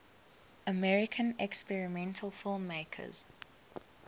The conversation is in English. american experimental filmmakers